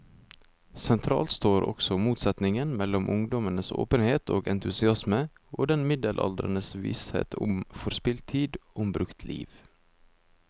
Sentralt står også motsetningen mellom ungdommens åpenhet og entusiasme og den middelaldrendes visshet om forspilt tid, om brukt liv.